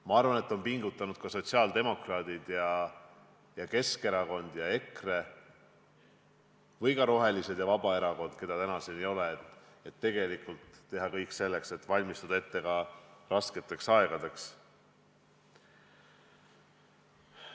Ma arvan, et pingutanud on ka sotsiaaldemokraadid, Keskerakond ja EKRE – aga ka rohelised ja Vabaerakond, keda täna siin ei ole –, et teha kõik selleks, et valmistuda ette rasketekski aegadeks.